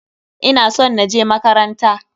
Ina son na je makaranta.